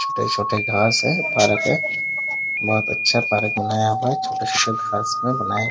छोटे-छोटे घास है पार्क में बहुत अच्छा पार्क बनाया हुआ है छोटे-छोटे घास में बनाया हुआ --